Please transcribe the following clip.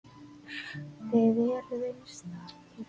Þið eruð einstakir.